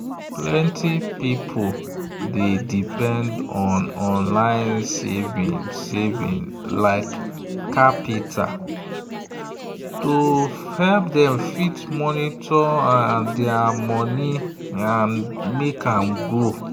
plenty people dey depend on online saving like qapital to fit monitor their money and make am grow.